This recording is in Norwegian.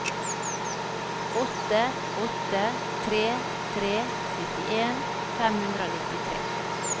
åtte åtte tre tre syttien fem hundre og nittitre